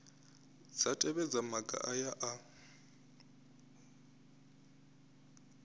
dza tevhedza maga aya a